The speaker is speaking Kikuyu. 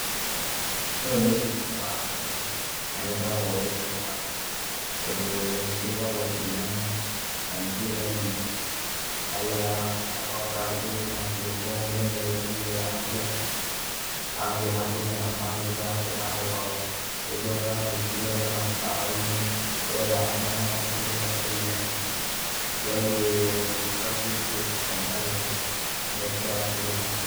Ũyũ nĩ ũrĩithia wa ng'ondu na nĩ ũkoragwo wĩ mwega, tondũ cigĩkoragwo ciĩ nyama na nĩ ciendagio. Ũgagĩkora kwĩna thigũkũ mũndũ nĩagĩthĩnjire yake agathiĩ akarĩa na bamĩrĩ yake na andũ ao. Rĩngĩ ũgakora nĩciendagio ona mĩkawa-inĩ wenda kanyama gaku kega karuge, ũgathiĩ ũkarugĩrwo na ũkarĩa ũgagĩtiga wakĩrĩha.